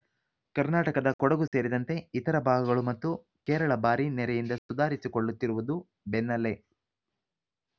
ಕರ್ನಾಟಕದ ಕೊಡಗು ಸೇರಿದಂತೆ ಇತರ ಭಾಗಗಳು ಮತ್ತು ಕೇರಳ ಭಾರೀ ನೆರೆಯಿಂದ ಸುಧಾರಿಸಿಕೊಳ್ಳುತ್ತಿರುವುದು ಬೆನ್ನಲ್ಲೇ